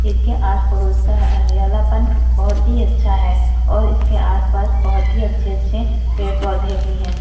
इसके आस पड़ोस का हरियालापन बहुत ही अच्छा है और इसका आस-पास बहुत ही अच्छे-अच्छे पेड़ पौधे भी हैं।